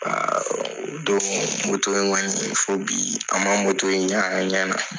o don in kɔni fo bi an man in y'an ɲana.